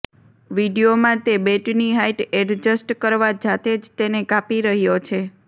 વિડીયોમાં તે બેટની હાઈટ એડજસ્ટ કરવા જાતે જ તેને કાપી રહ્યો છે